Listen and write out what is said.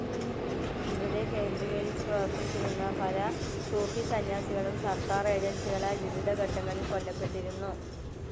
ഇവിടെ കേന്ദ്രീകരിച്ചു പ്രവർത്തിച്ചിരുന്ന പല സൂഫി സന്യാസികളും സർക്കാർ ഏജൻസികളാൽ വിവിധ ഘട്ടങ്ങളിൽ കൊല്ലപ്പെട്ടിരുന്നു.